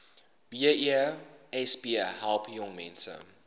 besp help jongmense